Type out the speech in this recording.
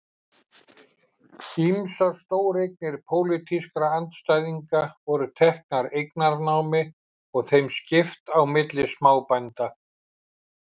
Ýmsar stóreignir pólitískra andstæðinga voru teknar eignanámi og þeim skipt á milli smábænda.